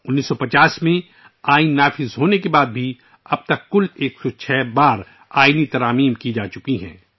1950 ء میں آئین کے نافذ ہونے کے بعد سے آج تک آئین میں کل 106 ترامیم کی جا چکی ہیں